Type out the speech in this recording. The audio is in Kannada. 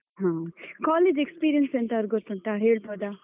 ಹ. college experience ಎಂತಾದ್ರೂ ಗೊತ್ತುಂಟಾ ಹೇಳ್ಬಹುದಾ?